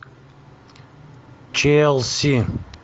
челси